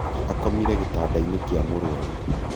akomire gĩtanda-inĩ kĩa mũrwaru